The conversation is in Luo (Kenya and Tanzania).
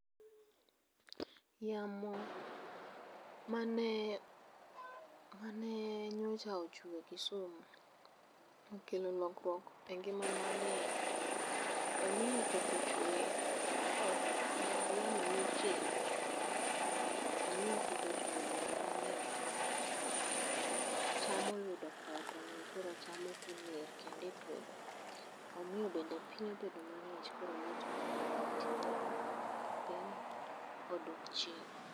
Yamo mane, manee nyocha ochwe Kisumu, okelo lokruok e ngimana ni. Omiyo koth ochwe, koth ma yamo ema okelo. Omiyo koth ochwe e gwenge mang'eny kendo, cham oyudo koth, omiyo cham koro ok oner kendo e puodho. Omiyo bende piny obedo mang'ich koro liet mang'eny mane ntiere piny odok chien.